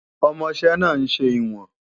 Ọmọṣẹ́ náà ń ṣe ìwọ̀n